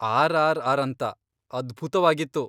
RRR. ಅಂತ, ಅದ್ಭುತ್ವಾಗಿತ್ತು.